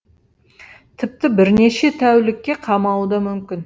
тіпті бірнеше тәулікке қамауы да мүмкін